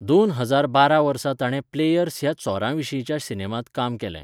दोन हजार बारा वर्सा ताणें 'प्लेयर्स' ह्या चोरयेविशींच्या सिनेमांत काम केलें.